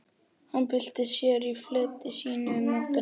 Hann bylti sér í fleti sínu um nóttina.